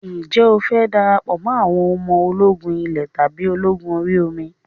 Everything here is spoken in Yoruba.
Ǹjẹ́ o fẹ́ darapọ̀ mọ́ àwọn ọmọ ológun ilé tàbí ológun orí omi?